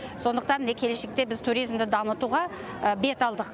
сондықтан міне келешекте біз туризмді дамытуға бет алдық